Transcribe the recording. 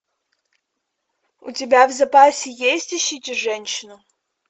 у тебя в запасе есть ищите женщину